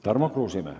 Tarmo Kruusimäe.